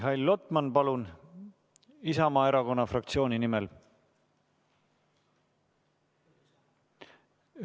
Mihhail Lotman, palun, Isamaa Erakonna fraktsiooni nimel!